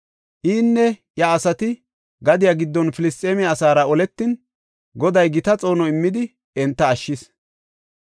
Inne iya asati gadiya giddon Filisxeeme asaara oletin, Goday gita xoono immidi enta ashshis.